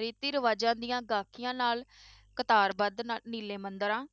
ਰੀਤੀ ਰਿਾਵਾਜ਼ਾਂ ਦੀਆਂ ਗਾਖੀਆਂ ਨਾਲ ਕਤਾਰਬੰਦ ਨਾ~ ਨੀਲੇ ਮੰਦਿਰਾਂ